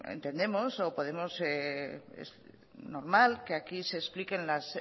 entendemos es normal que aquí se expliquen las